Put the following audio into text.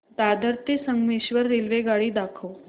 दादर ते संगमेश्वर रेल्वेगाडी दाखव